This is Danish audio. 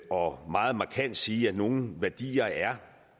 og meget markant sige at nogle værdier er